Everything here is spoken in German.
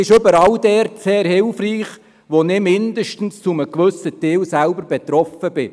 Sie ist überall dort sehr hilfreich, wo ich zumindest zu einem gewissen Teil selber betroffen bin.